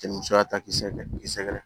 Cɛ ni musoya ta k'i sɛgɛrɛ k'i sɛgɛrɛ